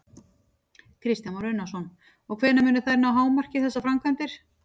Kristján Már Unnarsson: Og hvenær munu þær ná hámarki, þessar framkvæmdir?